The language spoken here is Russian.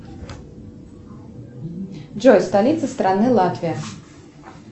джой столица страны латвия